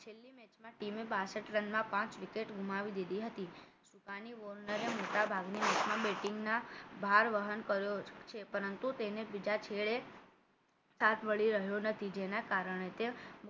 બે છેલ્લી મેચમાં બાસઠ રનમાં પાંચ wicket ગુમાવી દીધી હતી સુકાની વોર્નરે મોટાભાગની national batting ના ભાર વહન કર્યો છે પરંતુ તેને બીજા છેડે સાથ મળી રહ્યો નથી જેના‌ કારણે તે